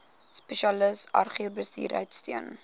spesialis agribesigheid steun